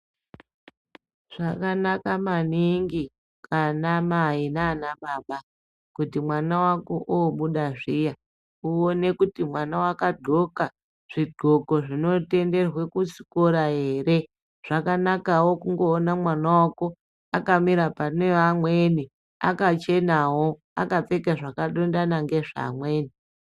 Zvakanaka maningi anamai nanababa kuti mwana vako obuda zviya uone kuti mwana vakadhloka zvidhloko zvinotenderwe kuchikora ere. Zvakanakavo kungoona mwana vako akamira pane amweni akachenavo akapfeka zvakadondana ngezvaamweni.